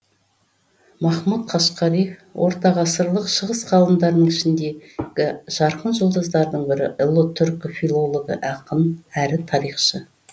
махмұт қашқари ортағасырлық шығыс ғалымдарының ішіндегі жарқын жұлдыздардың бірі ұлы түркі филологы ақын әрі тарихшы